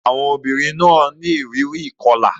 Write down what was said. Àwọn obìnrin náà ní ìrírí ìkọlà.